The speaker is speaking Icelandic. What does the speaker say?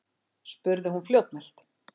spurði hún fljótmælt.